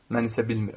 Mən isə bilmirəm.